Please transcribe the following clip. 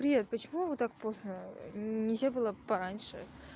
привет почему вы так поздно нельзя было пораньше